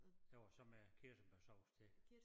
Jo og så med kirsebærsauce til